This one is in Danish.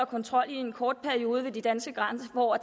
kontrol i en kort periode ved de danske grænser for at